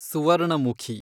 Suvarnamukhi